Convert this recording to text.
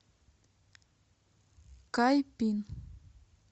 кайпин